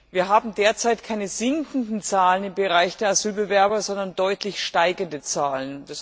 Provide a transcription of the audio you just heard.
Wir haben derzeit keine sinkenden Zahlen im Bereich der Asylbewerber, sondern deutlich steigende Zahlen.